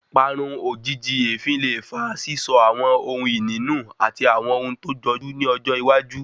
Parun ojìjijì èéfín le fa sísọ àwọn ohùn ìní nu àti àwọn ohun tó jọjú ní ọjọ́ iwájú